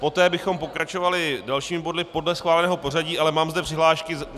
Poté bychom pokračovali dalšími body podle schváleného pořadí, ale mám zde přihlášky.